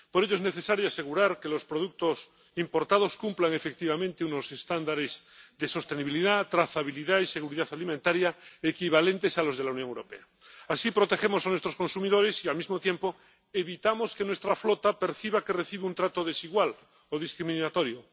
Por ello, es necesario asegurar que los productos importados cumplan efectivamente unos estándares de sostenibilidad, trazabilidad y seguridad alimentaria equivalentes a los de la Unión Europea. Así protegemos a nuestros consumidores y, al mismo tiempo, evitamos que nuestra flota perciba que recibe un trato desigual o discriminatorio.